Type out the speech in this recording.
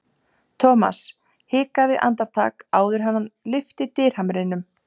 Thomas hikaði andartak áður en hann lyfti dyrahamrinum.